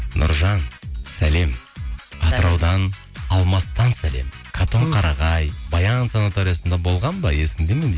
нұржан сәлем атыраудан алмастан сәлем қатонқарайғай баян санаториясында болған ба есіңде ме дейді